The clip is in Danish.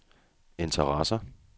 interesserer